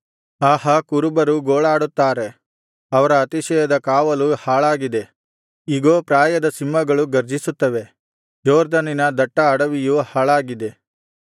ಆಹಾ ಕುರುಬರು ಗೋಳಾಡುತ್ತಾರೆ ಅವರ ಅತಿಶಯದ ಕಾವಲು ಹಾಳಾಗಿದೆ ಇಗೋ ಪ್ರಾಯದ ಸಿಂಹಗಳು ಗರ್ಜಿಸುತ್ತವೆ ಯೊರ್ದನಿನ ದಟ್ಟ ಅಡವಿಯು ಹಾಳಾಗಿದೆ